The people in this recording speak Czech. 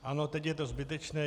Ano, teď je to zbytečné.